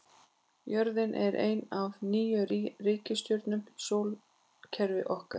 Jörðin er ein af níu reikistjörnum í sólkerfi okkar.